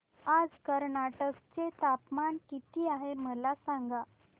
आज कर्नाटक चे तापमान किती आहे मला सांगा